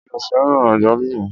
Mi ò fẹ́ràn àgbálùmọ́.